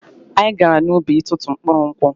Anyị gara n'ubi itụtụ mkpụrụ nkwụ.